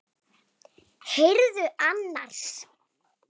Og það hefurðu gert.